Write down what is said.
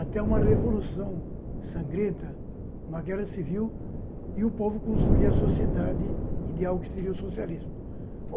até uma revolução sangrenta, uma guerra civil, e o povo construía a sociedade ideal que seria o socialismo.